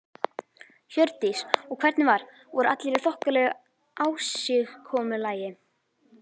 Hjördís: Og hvernig var, voru allir í þokkalegu ásigkomulagi?